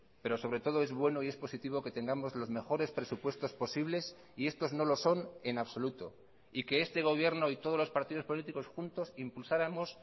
pero sobre todo es bueno y es positivo que tengamos los mejores presupuestos posibles y estos no lo son en absoluto y que este gobierno y todos los partidos políticos juntos impulsáramos